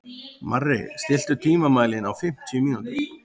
Marri, stilltu tímamælinn á fimmtíu mínútur.